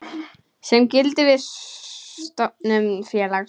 sem gildir við stofnun félags.